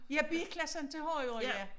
Ja b klassen til højre ja